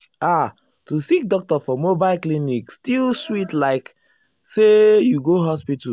ah to see doctor for mobile clinic still sweet likeah say you go hospital.